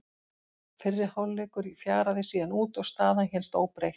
Fyrri hálfleikur fjaraði síðan út og staðan hélst óbreytt.